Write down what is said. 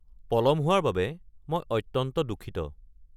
পলম হোৱাৰ বাবে মই অত্যন্ত দুঃখিত।